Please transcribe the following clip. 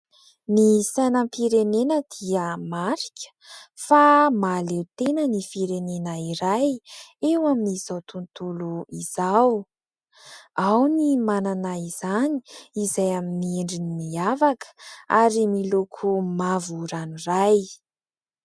Ny sainam-pirenena dia marika fa mahaleo tena ny firenena iray eo amin'izao tontolo izao, ao ny manana izany izay amin'ny endriny miavaka ary miloko mavo ranoray.